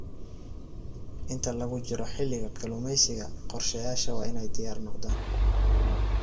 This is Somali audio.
Inta lagu jiro xilliga kalluumeysiga, qorshayaasha waa inay diyaar noqdaan.